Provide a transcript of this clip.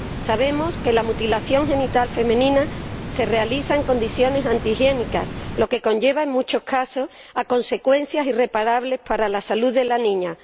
Sabemos que la mutilación genital femenina se realiza en condiciones antihigiénicas, lo que conlleva en muchos casos consecuencias irreparables para la salud de la niña.